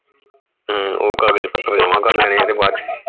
ਹਮ ਉਹ ਕਾਗਜ ਪੱਤਰ ਜਮਾ ਕਰ ਲੈਣੇ ਤੇ ਬਾਅਦ ਚ